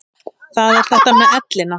Það er þetta með ellina.